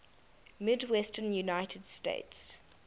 midwestern united states